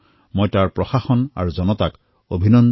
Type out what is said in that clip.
মই তাৰে প্ৰশাসন তথা জনতাক অভিনন্দন জ্ঞাপন কৰিছোঁ